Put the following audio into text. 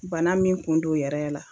Bana min kun don yɛrɛ la